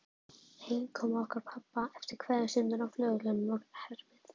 Heimkoma okkar pabba eftir kveðjustundina á flugvellinum var erfið.